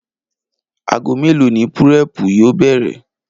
Aago mélòó ni púré̩è̩pù yóò bè̩rè̩?